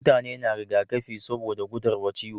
Mutane na riga kafi saboda gudar wa ciwo